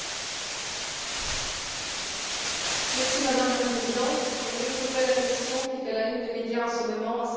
Madame la Présidente, je voudrais soulever la question qui fait la une des médias en ce moment, à savoir l'intégration de la communauté rom en Europe.